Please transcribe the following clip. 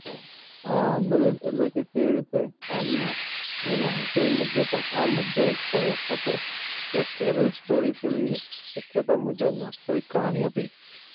અમ દલીલ એટલે કેવી રીતે હાલમાં એને IPL મુદ્દે આ મુદ્દો પણ ઉચકાયો હતો The Kerala story film ની શક્યતા મુજબ વાસ્તવિક કહાની હતી.